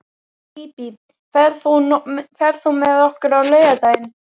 Bíbí, ferð þú með okkur á laugardaginn?